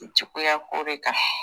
Juguyako de kan